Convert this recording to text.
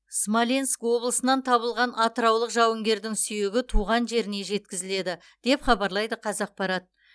смоленск облысынан табылған атыраулық жауынгердің сүйегі туған жеріне жеткізіледі деп хабарлайды қазақпарат